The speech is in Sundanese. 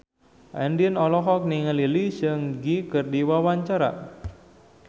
Andien olohok ningali Lee Seung Gi keur diwawancara